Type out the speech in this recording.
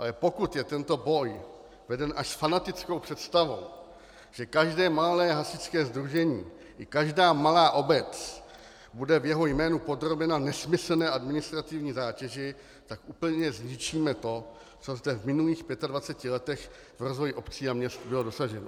Ale pokud je tento boj veden až s fanatickou představou, že každé malé hasičské sdružení i každá malá obec bude v jeho jménu podrobena nesmyslné administrativní zátěži, tak úplně zničíme to, co zde v minulých 25 letech v rozvoji měst a obcí bylo dosaženo.